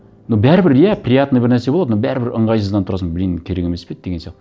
но бәрібір иә приятный бір нәрсе болады но бәрібір ыңғайсызданып тұрасың блин керек емес пе еді деген сияқты